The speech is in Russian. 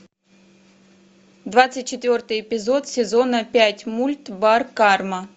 двадцать четвертый эпизод сезона пять мульт бар карма